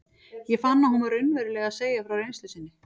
Ég fann að hún var raunverulega að segja frá reynslu sinni.